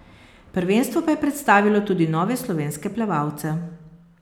Prvenstvo pa je predstavilo tudi nove slovenske plavalce.